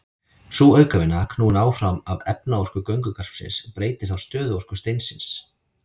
Sú aukavinna, knúin áfram af efnaorku göngugarpsins, breytir þá stöðuorku steinsins.